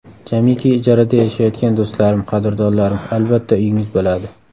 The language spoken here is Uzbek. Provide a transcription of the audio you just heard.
Jamiki ijarada yashayotgan do‘stlarim, qadrdonlarim, albatta, uyingiz bo‘ladi.